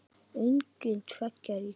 Engin tveggja ríkja lausn?